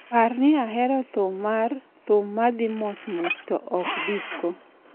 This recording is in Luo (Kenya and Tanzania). Par ni ahero thum mar "thum ma dhi mos mos" to ok "disco".